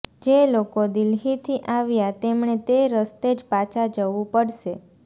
જે લોકો દિલ્હીથી આવ્યા તેમણે તે રસ્તે જ પાછા જવું પડશે